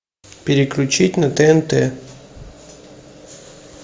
переключить на тнт